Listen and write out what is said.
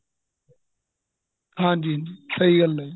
ਹਾਂਜੀ ਹਾਂਜੀ ਸਹੀਂ ਗੱਲ ਏ ਜੀ